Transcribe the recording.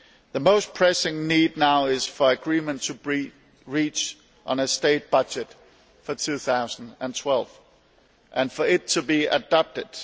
The most pressing need now is for agreement to be reached on a state budget for 2012 and for it to be adopted.